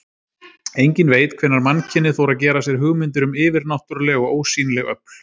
Enginn veit hvenær mannkynið fór að gera sér hugmyndir um yfirnáttúruleg og ósýnileg öfl.